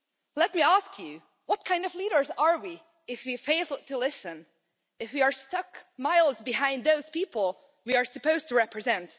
Let me ask you, what kind of leaders are we if we fail to listen, and if we are stuck miles behind those people we are supposed to represent?